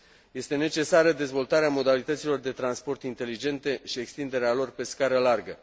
Este necesară dezvoltarea modalităților de transport inteligente și extinderea lor pe scară largă.